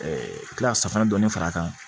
kila ka safinɛ dɔɔni fara a kan